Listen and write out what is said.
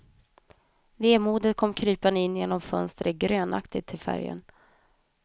Vemodet kom krypande in genom fönstret, grönaktigt till färgen.